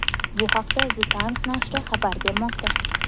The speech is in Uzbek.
Bu haqda The Times nashri xabar bermoqda .